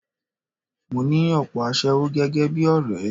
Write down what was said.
Mo ní òpò aṣẹ́wó gẹ́gẹ́ bí ọ̀rẹ́.